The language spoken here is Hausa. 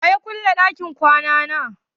Wa ya ƙulle ɗakin kwana na?